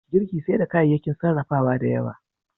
Girki sai da kayayyakin sarrafawa da yawa.